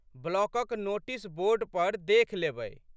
ब्लॉकक notice board पर देखि लेबै।